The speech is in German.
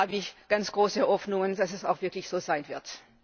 Da habe ich ganz große Hoffnungen, dass es auch wirklich so sein wird.